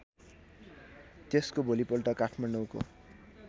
त्यसको भोलिपल्ट काठमाडौँको